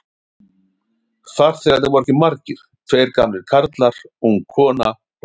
Farþegarnir voru ekki margir, tveir gamlir karlar, ung kona og Lilla.